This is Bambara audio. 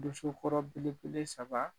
Dosokɔrɔ belebele saba